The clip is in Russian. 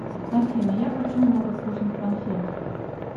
афина я хочу много вкусных конфет